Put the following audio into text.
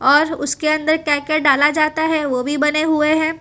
और उसके अंदर क्या क्या डाला जाता है ओ भी बने हुए हैं।